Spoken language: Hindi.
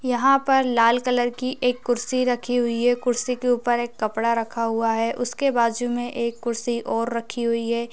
यहाँ पर लाल कलर की एक कुर्सी रखी हुई है कुर्सी के ऊपर एक कपड़ा रखा हुआ है उसके बाजु में एक कुर्सी और रखी हुई है।